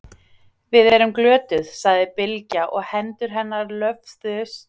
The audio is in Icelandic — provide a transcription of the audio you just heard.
Við erum glötuð, sagði Bylgja og hendur hennar löfðu slyttingslega á milli hnjánna.